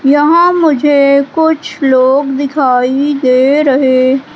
यहां मुझे कुछ लोग दिखाई दे रहे--